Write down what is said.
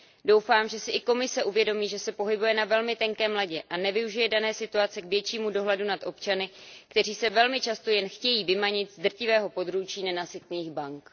Doufám, že si i Komise uvědomí, že se pohybuje na velmi tenkém ledě a nevyužije dané situace k většímu dohledu nad občany, kteří se velmi často jen chtějí vymanit z drtivého područí nenasytných bank.